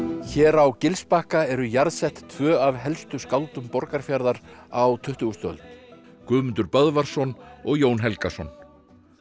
hér á Gilsbakka eru jarðsett tvö af helstu skáldum Borgarfjarðar á tuttugustu öld Guðmundur Böðvarsson og Jón Helgason